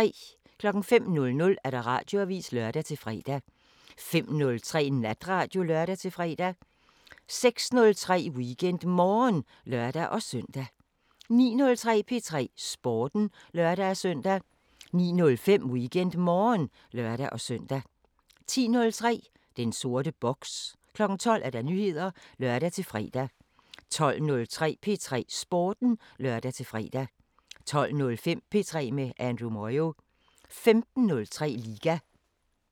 05:00: Radioavisen (lør-fre) 05:03: Natradio (lør-fre) 06:03: WeekendMorgen (lør-søn) 09:03: P3 Sporten (lør-søn) 09:05: WeekendMorgen (lør-søn) 10:03: Den sorte boks 12:00: Nyheder (lør-fre) 12:03: P3 Sporten (lør-fre) 12:05: P3 med Andrew Moyo 15:03: Liga